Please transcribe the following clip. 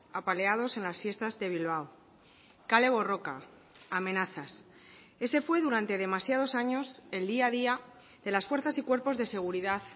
apaleados en las fiestas de bilbao kale borroka amenazas ese fue durante demasiados años el día a día de las fuerzas y cuerpos de seguridad